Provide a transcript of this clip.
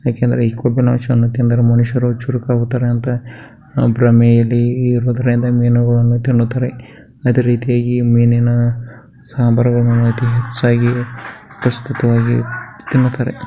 ಯಾಕೆಂದ್ರೆ ಈ ಕೊಬ್ಬಿನಾಂಶ ತಿನ್ನದರೆ ಮನುಷ್ಯರು ಚುರಕ್ ಆಗುತ್ತಾರೆ ಅಂತ ಭ್ರಮೆಯಲ್ಲಿ ಇರುವದರಿಂದ ಮೀನುಗಳನ್ನು ತಿನ್ನುತ್ತಾರೆ ಅದೇ ರೀತಿ ಮೀನಿನ ಸಾಂಬಾರ್ ಹೆಚ್ಚಾಗಿ ತಿನ್ನುತ್ತಾರೆ .